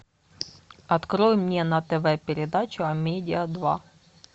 открой мне на тв передачу амедиа два